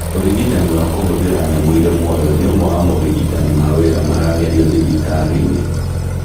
ũrigitani wa kũhũthĩra nyamũ irĩ muoyo nĩ ũmwe wa morigitani mawira maragerio thibitari-inĩ